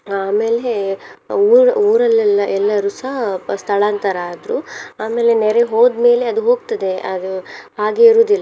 ಆಮೇಲೆ ಊ~ ಊರಲ್ಲೆಲ್ಲ ಎಲ್ಲರುಸ ಸ್ಥಳಾಂತರ ಆದ್ರು ಆಮೇಲೆ ನೆರೆ ಹೋದ್ಮೇಲೆ ಅದ್ ಹೋಗ್ತದೆ ಅದು ಹಾಗೆ ಇರುವುದಿಲ್ಲ.